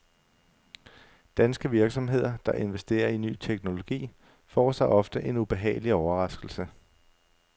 Danske virksomheder, der investerer i ny teknologi, får sig ofte en ubehagelig overraskelse.